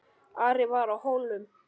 Ari var á Hólum.